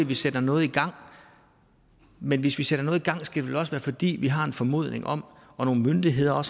vi sætter noget i gang men hvis vi sætter noget i gang skal det vel også være fordi vi har en formodning om og nogle myndigheder har